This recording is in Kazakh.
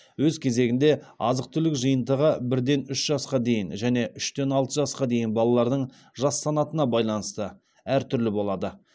өз кезегінде азық түлік жиынтығы бірден үш жасқа дейін және үштен алты жасқа дейін балалардың жас санатына байланысты әр түрлі болады